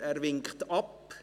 Er winkt ab.